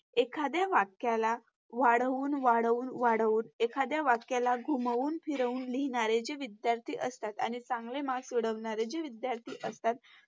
एखादया वाक्याला वाढवून वाढवून वाढवून, एखादया वाक्याला घुमवून फिरवून लिहणारे जे विध्यार्थी असतात आणि चांगले Marks मिळवणारे जे विध्यार्थी असतात